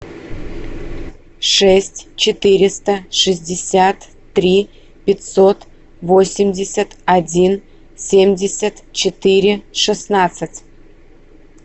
шесть четыреста шестьдесят три пятьсот восемьдесят один семьдесят четыре шестнадцать